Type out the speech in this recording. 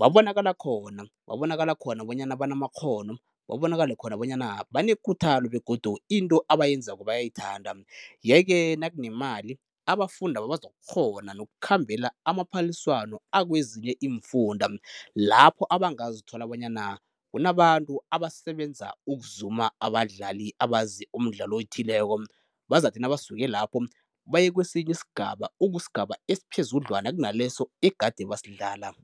babonakala khona, babonakala khona bonyana banamakghono, babonakale khona bona banekuthalo begodu into abayenzako bayayithanda, yeke nakunemali abafundaba bazokukghona nokukhambela amaphaliswano akwezinye iimfunda lapho abangazithola bonyana kunabantu abasebenza ukuzuma abadlali abazi umdlalo othileko, bazathi nabasuke lapho baye kwesinye isigaba, okusigaba esiphezudlwana kunaleso egade basidlala.